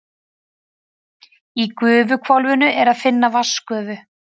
Í gufuhvolfinu er að finna vatnsgufu.